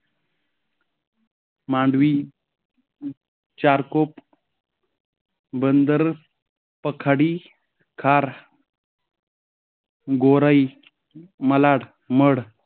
Mandvi, Charkop, Bandar, Pakhadi, Khar Gorai, Malad, mud,